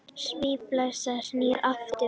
Svínaflensan snýr aftur